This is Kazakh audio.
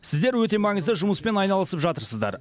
сіздер өте маңызды жұмыспен айналысып жатырсыздар